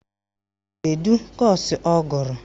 Kedu kọ́ọ̀sụ̀ ọ gụrụ?